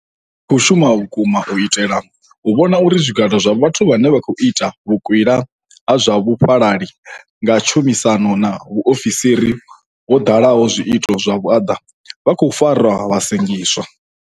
Ri khou shuma vhukuma u itela u vhona uri zwigwada zwa vhathu vhane vha khou ita vhukwila ha zwa vhufhalali nga tshumisano na vhaofisiri vho ḓalaho zwiito zwa vhuaḓa, vha khou farwa vha sengiswa.